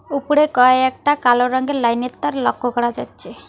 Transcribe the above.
উপরে কয়েকটা কালো রঙ্গের লাইন -এর তার লক্ক করা যাচ্চে।